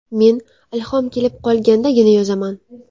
Men ilhom kelib qolgandagina yozaman.